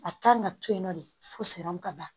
A kan ka to yen nɔ de fo siran kaban